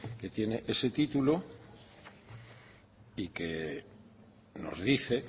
que tiene ese título y que nos dice